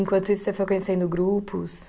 Enquanto isso, você foi conhecendo grupos?